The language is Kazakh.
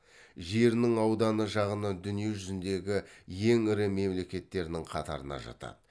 жерінің ауданы жағынан дүние жүзіндегі ең ірі мемлекеттердің қатарына жатады